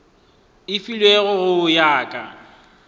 e filwego go ya ka